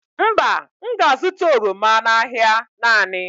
Mba, m ga-azụta oroma n'ahịa naanị.